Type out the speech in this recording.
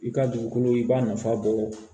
I ka dugukolo i b'a nafa bɔ